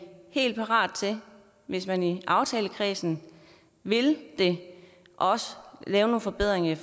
helt parat til hvis man i aftalekredsen vil det at lave nogle forbedringer